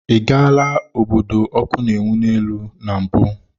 Ị gaala obodo ọkụ na-enwu n'elu na mbụ?